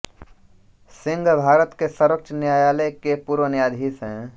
सिंह भारत के सर्वोच्च न्यायालय के पूर्व न्यायाधीश हैं